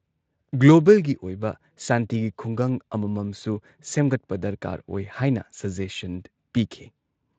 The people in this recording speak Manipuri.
ꯒ꯭ꯂꯣꯕꯦꯜꯒꯤ ꯑꯣꯏꯕ ꯁꯥꯟꯇꯤꯒꯤ ꯈꯨꯡꯒꯪ ꯑꯃꯃꯝꯁꯨ ꯁꯦꯝꯒꯠꯄ ꯗꯔꯀꯥꯔ ꯑꯣꯏ ꯍꯥꯏꯅ ꯁꯖꯦꯁꯟ ꯄꯤꯈꯤ ꯫